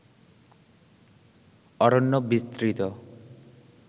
অরণ্য বিস্তৃত